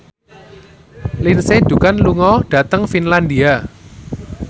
Lindsay Ducan lunga dhateng Finlandia